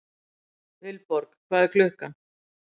Vilborg, hvað er klukkan?